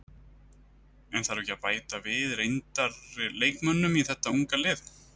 En þarf ekki að bæta við reyndar leikmönnum í þeta unga lið?